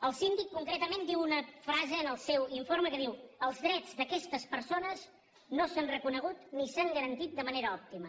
el síndic concretament diu una frase en el seu informe que diu els drets d’aquestes persones no s’han reconegut ni s’han garantit de manera òptima